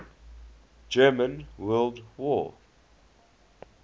german world war